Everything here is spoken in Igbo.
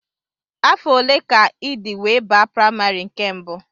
Afọ ole ka ịdị wee baa primary nke mbụ?